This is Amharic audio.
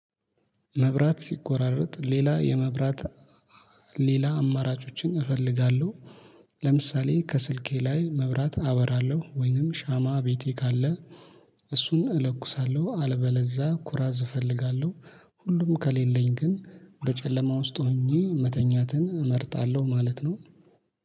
መብራት ሲቆራረጥ ሌላ የመብራት ሌላ አማራጮችን እፈልጋለሁ። ለምሳሌ ከስልኬ ላይ መብራት አበራለው ወይንም ሻማ ቤቴ ካለ። እሱን እለኩሳለሁ አልበለዛ ኩራዝ እፈልጋለሁ። ሁሉም ከሌለኝ ግን በጨለማ ውስጥ ሆኜ መተኛትን እመርጣለሁ ማለት ነው